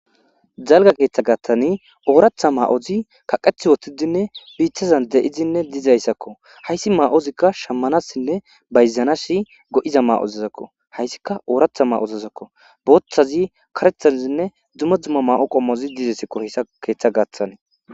Dalgga keeththa gaaththan ooraththa ma'oti kaqeti uttidinne biittazan de'idinne dizayssako. Hayssi ma'ozikka shammanasinne bayzanas go'iza ma'otazakko. Hayssikka ooraththa ma'otazakko. Booththa, kareththazinne dumma dumma ma'o qommozi dizayssakko hayssa keeththa gaaththan